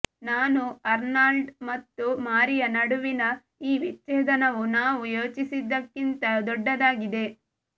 ನಾನು ಅರ್ನಾಲ್ಡ್ ಮತ್ತು ಮಾರಿಯಾ ನಡುವಿನ ಈ ವಿಚ್ಛೇದನವು ನಾವು ಯೋಚಿಸಿದ್ದಕ್ಕಿಂತ ದೊಡ್ಡದಾಗಿದೆ